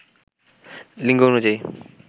লিঙ্গ অনুযায়ী